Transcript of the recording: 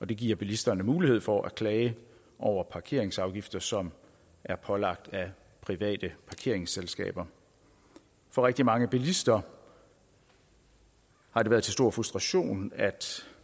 det giver bilisterne mulighed for at klage over parkeringsafgifter som er pålagt af private parkeringsselskaber for rigtig mange bilister har det været til stor frustration at